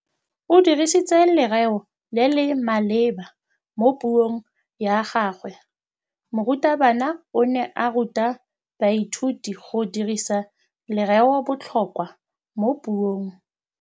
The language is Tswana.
O dirisitse lerêo le le maleba mo puông ya gagwe. Morutabana o ne a ruta baithuti go dirisa lêrêôbotlhôkwa mo puong.